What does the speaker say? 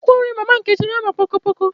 Akwụkwọ nri mama Nkechi na àmà poko poko